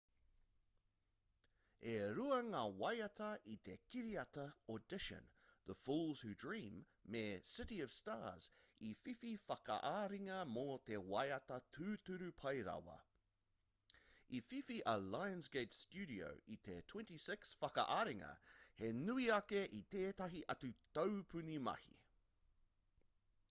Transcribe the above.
e rua ngā waiata i te kiriata audition the fools who dream me city of stars i whiwhi whakaaringa mō te waiata tūturu pai rawa. i whiwhi a lionsgate studio i te 26 whakaaringa - he nui ake i tētahi atu taupuni mahi